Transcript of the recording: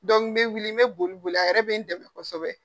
n be wuli n be boli boli a yɛrɛ be n dɛmɛ kosɛbɛ.